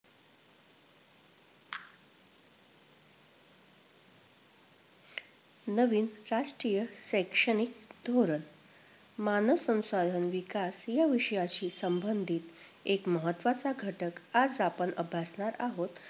नवीन राष्ट्रीय शैक्षणिक धोरण, मानव संसाधन विकास या विषयाशी संबंधित एक महत्वाचा घटक आज आपण अभ्यासणार आहोत,